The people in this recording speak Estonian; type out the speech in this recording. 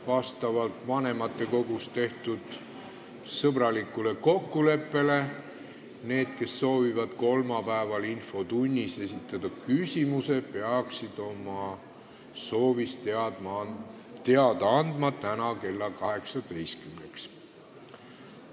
Vastavalt vanematekogus tehtud sõbralikule kokkuleppele peaksid need, kes soovivad kolmapäeval infotunnis küsimuse esitada, andma oma soovist teada täna kella 18-ks.